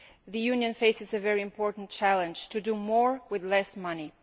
The Union faces a very important challenge to do more with less money.